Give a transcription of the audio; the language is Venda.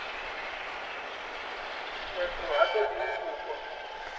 khetho ha ṱoḓi u pfukwa